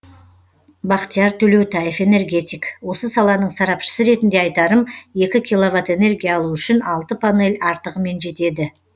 бақтияр төлеутаев энергетик осы саланың сарапшысы ретінде айтарым екі киловатт энергия алу үшін алты панель артығымен жетеді